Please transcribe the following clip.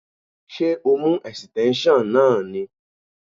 Ṣé o mú esíténsion náà ni?